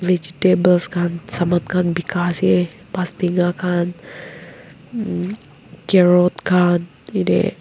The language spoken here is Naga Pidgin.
vegetables khan saman khan bikase bastenga khan mm carrot khan yatey.